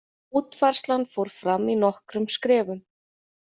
Útfærslan fór fram í nokkrum skrefum.